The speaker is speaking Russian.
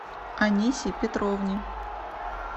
анисе петровне